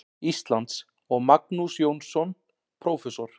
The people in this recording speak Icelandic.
Íslands, og Magnús Jónsson, prófessor.